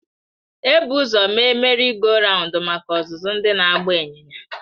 Ebu ụzọ mee Merị goo rawundu maka. ọzụzụ ndị na-agba ịnyịnya.